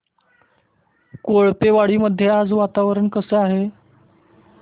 कोळपेवाडी मध्ये आज वातावरण कसे आहे